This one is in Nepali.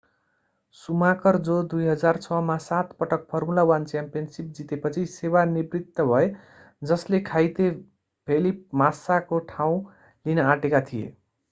सुमाकर जो 2006 मा सात पटक फर्मुला 1 च्याम्पियनसिप जितेपछि सेवा निवृत्त भए जसले घाइते फेलिप मास्साको ठाउँ लिन आँटेका थिए